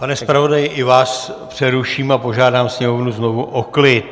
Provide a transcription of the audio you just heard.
Pane zpravodaji, i vás přeruším a požádám sněmovnu znovu o klid.